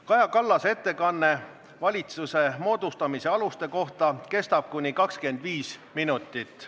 Kaja Kallase ettekanne valitsuse moodustamise aluste kohta kestab kuni 25 minutit.